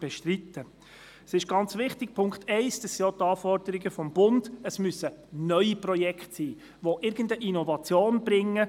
Zum Punkt 1: Ganz wichtig sind neue Projekte, die für die erwähnte Zielgruppe eine Innovation bringen.